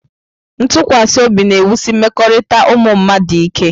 Ntụkwasị obi na-ewusi mmekọrịta ụmụ mmadụ ike.